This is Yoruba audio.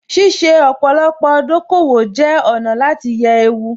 Ṣíṣe ọ̀pọ̀lọpọ̀ dòkòwò jẹ́ ọ̀nà láti yẹ ewu